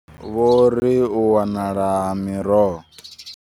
Vho ri u wanala ha miroho.